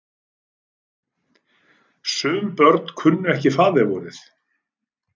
Sum börn kunnu ekki faðirvorið.